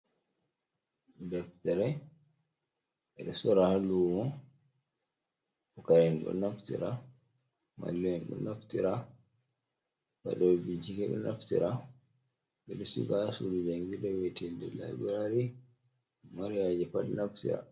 Deptere ɓe ɗo sora ha lumo, pucara'en ɗo naftira, mallu'en ɗo naftira, waɗɗobe bincike ɗo naftira, ɓe ɗo siga ha sudu jangirɗe wi'etinde labirari mo mari haaje pat naftira.